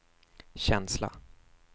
känsla